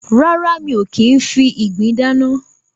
Rárá, mi ò kì í ń fi ìgbín dáná.